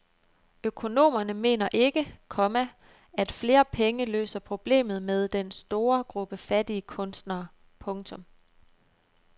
Økonomerne mener ikke, komma at flere penge løser problemet med den store gruppe fattige kunstnere. punktum